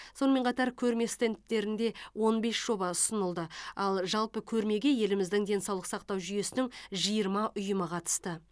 сонымен қатар көрме стендтерінде он бес жоба ұсынылды ал жалпы көрмеге еліміздің денсаулық сақтау жүйесінің жиырма ұйымы қатысты